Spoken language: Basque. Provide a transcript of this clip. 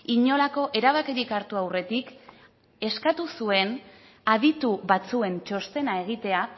inolako erabakirik hartu aurretik eskatu zuen aditu batzuen txostena egitea